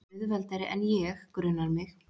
Auðveldari en ég, grunar mig.